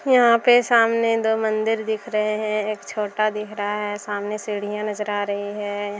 यहाँ पे सामने दो मंदिर दिख रहे हैं एक छोटा दिख रहा है सामने सीढ़िया नजर आ रही हैं।